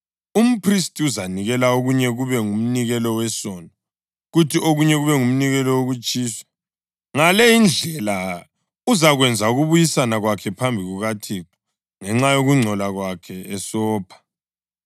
Umphristi uzanikela okunye kube ngumnikelo wesono, kuthi okunye kube ngumnikelo wokutshiswa. Ngale indlela uzakwenza ukubuyisana kwakhe phambi kukaThixo ngenxa yokungcola kwakhe esopha.